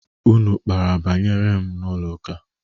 Unu kpara banyere m n'ụlọ ụka?